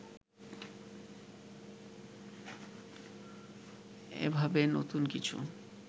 এভাবে নতুন কিছু